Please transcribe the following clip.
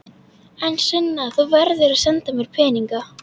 En Sunna, þú verður að senda mér peninga.